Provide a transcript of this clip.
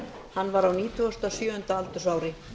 hann var á nítugasta og sjöunda aldursári